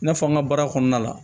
I n'a fɔ an ka baara kɔnɔna la